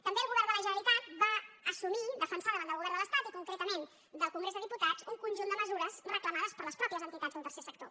també el govern de la generalitat va assumir defen·sar davant del govern de l’estat i concretament del congrés dels diputats un conjunt de mesures reclama·des per les mateixes entitats del tercer sector